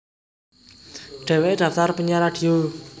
Dheweke daftar penyiar radio